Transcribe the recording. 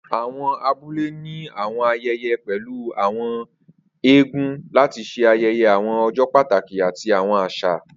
Awọn abule ni awọn ayẹyẹ pẹlu awọn Àwọn eégún lati ṣe ayẹyẹ awọn ọjọ pataki ati awọn aṣa.